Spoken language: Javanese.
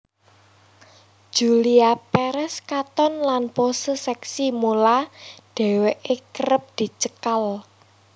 Julia Perez katon lan pose seksi mula dheweke kerep dicekal